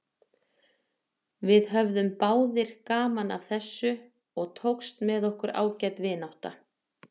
Við höfðum báðir gaman af þessu og tókst með okkur ágæt vinátta.